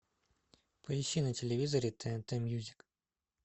поищи на телевизоре тнт мьюзик